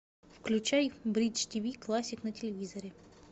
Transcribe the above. включай бридж ти ви классик на телевизоре